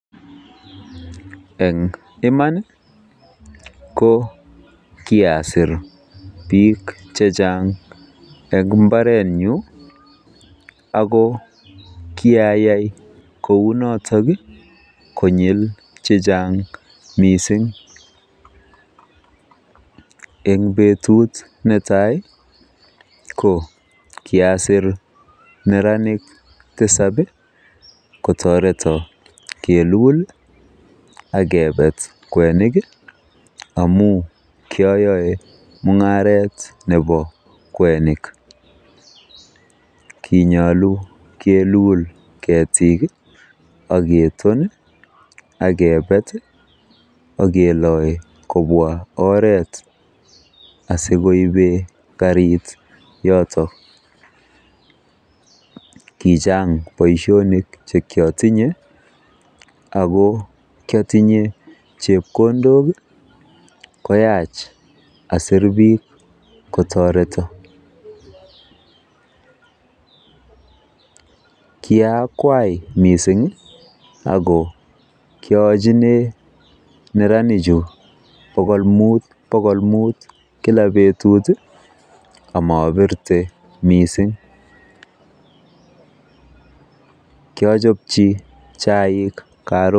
Eng iman ko kiasir biik chechang eng mbaretnyu ako kiayai kounoto konyil chechang mising. Eng betut netai ko kiasir neranik tisab kotoreto keelul akepet kwenik amu kiayae mung'aret nebo kwenik. Kinyolu kiilul ketik akepet aketon akeloi kobwa oret asikoipe karit yotok. Kichang boisionik chekiotinye ako kiatinye chepkondok koyach asiir biik kotoreto. Kiaakwai miising ako kiayachine neranichu bokolmut bokolmut kila beetut ako maapirte miising. Kiachopchi chaik Karon